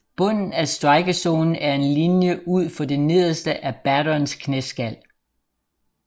Bunden af strikezonen er en linje ud for det nederste af batterens knæskal